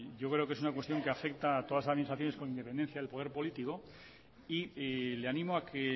yo creo que es una cuestión que afecta a todas las administraciones con independencia del poder político y le animo a que